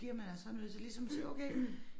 Bliver man altså også nødt til ligesom sige okay